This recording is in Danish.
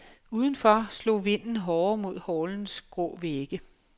Udenfor slog vinden hårdere mod hallens grå vægge.